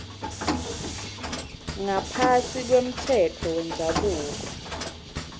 ngaphasi kwemtsetfo wendzabuko